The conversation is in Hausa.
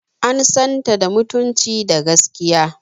An san ta da mutunci da gaskiya.